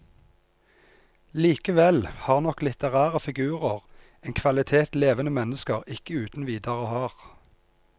Likevel har nok litterære figurer en kvalitet levende mennesker ikke uten videre har.